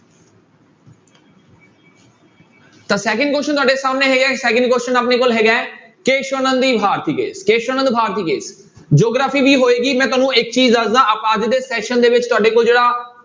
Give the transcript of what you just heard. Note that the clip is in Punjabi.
ਤਾਂ second question ਤੁਹਾਡੇ ਸਾਹਮਣੇ ਹੈਗਾ second question ਆਪਣੇ ਕੋਲ ਹੈਗਾ ਹੈ Kesavananda Bharati Kesavananda Bharati geography ਵੀ ਹੋਏਗੀ ਮੈਂ ਤੁਹਾਨੂੰ ਇੱਕ ਚੀਜ਼ ਦੱਸਦਾਂ ਆਪਾਂ ਅੱਜ ਦੇ session ਦੇ ਵਿੱਚ ਤੁਹਾਡੇ ਕੋਲ ਜਿਹੜਾ